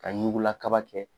Ka ɲugula kaba kɛ